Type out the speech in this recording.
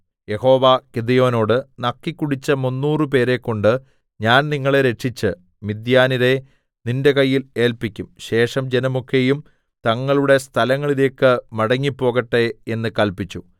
യഹോവ ഗിദെയോനോട് നക്കിക്കുടിച്ച മുന്നൂറു പേരെക്കൊണ്ട് ഞാൻ നിങ്ങളെ രക്ഷിച്ച് മിദ്യാന്യരെ നിന്റെ കയ്യിൽ ഏല്പിക്കും ശേഷം ജനമൊക്കെയും തങ്ങളുടെ സ്ഥലങ്ങളിലേക്ക് മടങ്ങി പോകട്ടെ എന്നു കല്പിച്ചു